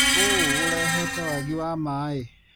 ũũ ũrehete wagi wa maĩ.